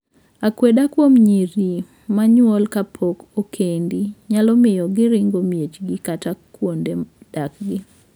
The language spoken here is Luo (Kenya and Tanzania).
Akweda kuom nyiri ma nyuol kapok okendi nyalo miyo giringo miechgi kata kuonde dakgi.